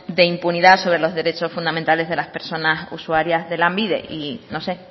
de impunidad sobre los derechos fundamentales de las personas usuarias de lanbide y no sé